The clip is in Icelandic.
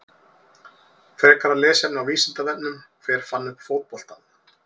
Frekara lesefni á Vísindavefnum: Hver fann upp fótboltann?